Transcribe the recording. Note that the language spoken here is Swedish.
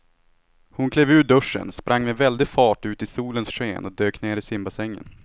Hon klev ur duschen, sprang med väldig fart ut i solens sken och dök ner i simbassängen.